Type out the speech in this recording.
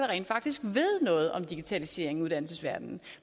rent faktisk ved noget om digitaliseringen i uddannelsesverdenen